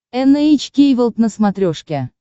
эн эйч кей волд на смотрешке